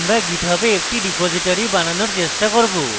আমরা github a একটি repository বানানোর চেষ্টা করব